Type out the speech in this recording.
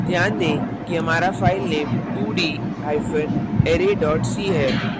ध्यान दें कि हमारा file 2d hyphen array dot c है